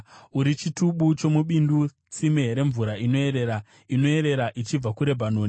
Uri chitubu chomubindu, tsime remvura inoerera, inoerera ichibva kuRebhanoni.